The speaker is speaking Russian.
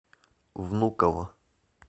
внуково